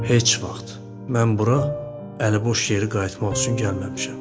Heç vaxt mən bura əliboş geri qayıtmaq üçün gəlməmişəm.